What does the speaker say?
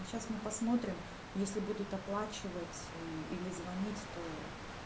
сейчас мы посмотрим если будут оплачивать и или звонить то